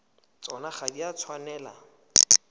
tsona ga di a tshwanela